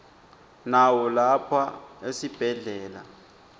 nawo lapha esibhedlela